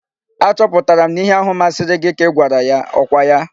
Achọpụtara m na ihe ahụ masịrị gị ka ị gwara ya. Ọ kwa ya?